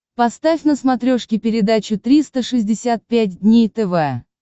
поставь на смотрешке передачу триста шестьдесят пять дней тв